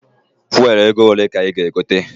Fuelu ego ole ka ị ga- egote?